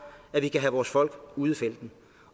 at vi kan have folk ude i felten